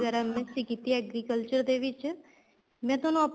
MSC ਹੀ ਕੀਤੀ ਏ agriculture ਦੇ ਵਿੱਚ ਮੈਂ ਤੁਹਾਨੂੰ ਆਪਣੇ